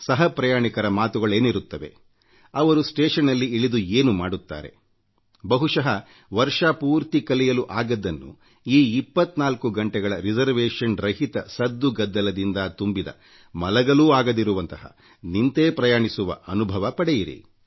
ಸಹ ಪ್ರಯಾಣಿಕರ ಮಾತುಗಳೇನಿರುತ್ತವೆ ಅವರು ಸ್ಟೇಶನ್ನಲ್ಲಿ ಇಳಿದು ಏನು ಮಾಡುತ್ತಾರೆ ಬಹುಶಃ ವರ್ಷಪೂರ್ತಿ ಕಲಿಯಲು ಆಗದ್ದನ್ನು ಈ 24 ಗಂಟೆಗಳ ರಿಸರ್ವೇಶನ್ ರಹಿತ ಸದ್ದುಗದ್ದಲದಿಂದ ತುಂಬಿದ ಮಲಗಲೂ ಆಗದಿರುವಂತಹ ನಿಂತೇ ಪ್ರಯಾಣಿಸುವ ಆ ಅದ್ಭುತ ಅನುಭವ ಪಡೆಯಿರಿ